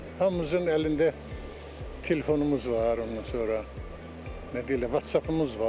Hamımızın əlində telefonumuz var, ondan sonra, nə deyirlər, WhatsApp-ımız var.